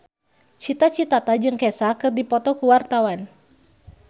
Cita Citata jeung Kesha keur dipoto ku wartawan